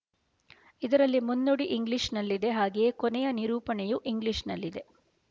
ಇದರಲ್ಲಿ ಮುನ್ನುಡಿ ಇಂಗ್ಲೀಷ್ ನಲ್ಲಿದೆ ಹಾಗೆಯೇ ಕೊನೆಯ ನಿರೂಪಣೆಯು ಇಂಗ್ಲೀಷ್ ನಲ್ಲಿದೆ